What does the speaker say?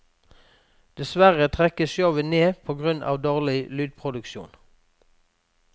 Dessverre trekkes showet ned på grunn av dårlig lydproduksjon.